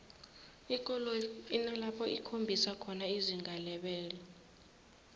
ikoloyi inalapho ikhombisa khona izinga lebelo